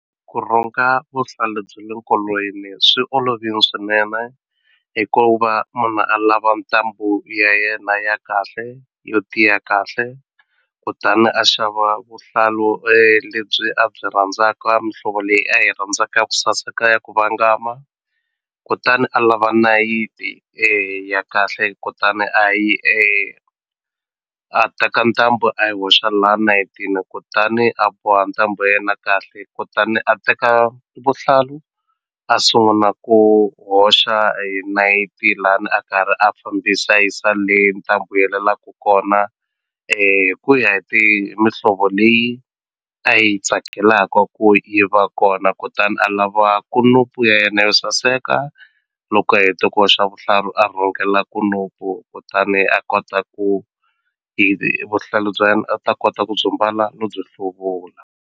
Ku rhunga vuhlalu bya le nkolweni swi olovini swinene hi ku va munhu a lava ntambu ya yena ya kahle yo tiya kahle kutani a xava vuhlalu lebyi a byi rhandzaka mihlovo leyi a yi rhandzaka ya ku saseka ya ku vangama kutani a lava nayiti ya kahle kutani a yi a teka ntambu a yi hoxa la nayitini kutani a boha ntambu ya yena kahle kutani a teka vuhlalu a sunguna ku hoxa hi nayiti lani a karhi a fambisa a yisa le ntambu yi helelaku kona hi ku ya hi mihlovo leyi a yi tsakelaka ku yi va kona kutani a lava kunupu ya yena yo saseka loko a hete ku hoxa vuhlalu a rhungela kunupu kutani a kota ku vuhlalu bya yena a ta kota ku byi mbala no byi hluvula.